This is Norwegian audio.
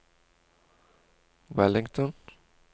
Wellington